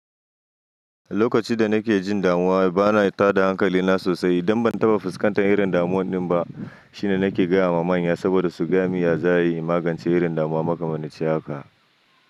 Lokacin da nake jin damuwa bana tada hankali na sosai idan ban taba fuskantar irin damuwan din ba. Shine nake gaya ma manya saboda su gami ya za'a yi magance irin damuwa makamane ciyaka.